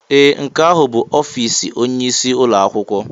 Ee! Nke ahụ bụ ọfịs onyeisi ụlọ akwụkwọ.